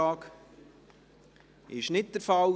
– Dies ist nicht der Fall.